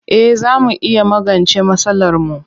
Eh zaa mu iya magance masalarmu.